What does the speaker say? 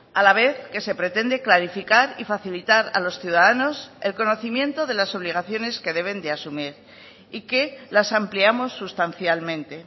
a la vez que se pretende clarificar y facilitar a los ciudadanos el conocimiento de las obligaciones que deben de asumir y que las ampliamos sustancialmente